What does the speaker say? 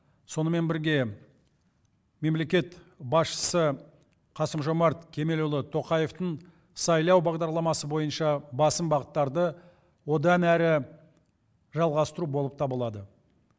сонымен бірге мемлекет басшысы қасым жомарт кемелұлы тоқаевтың сайлау бағдарламасы бойынша басым бағыттарды одан әрі жалғастыру болып табылады